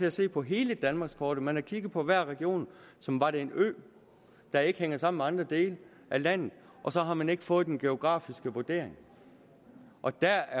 at se på hele danmarkskortet man har kigget på hver region som var det en ø der ikke hænger sammen med andre dele af landet og så har man ikke fået den geografiske vurdering og der